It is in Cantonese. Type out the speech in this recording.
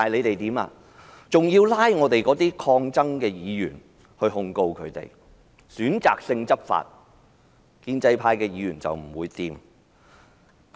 就是要拘捕及控告抗爭的議員，而且選擇性執法——建制派議員不會有事。